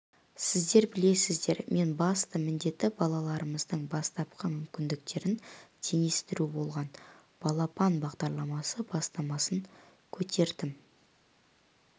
сіздер білесіздер мен басты міндеті балаларымыздың бастапқы мүмкіндіктерін теңестіру болған балапан бағдарламасы бастамасын көтердім